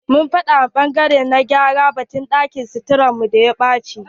Mun faɗa ma ɓangare na gyara batun ɗakin suturar mu da ta ɓache.